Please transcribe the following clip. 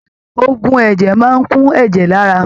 Ògùn ẹ̀jẹ̀ máa kún ẹ̀jẹ̀ l'ara.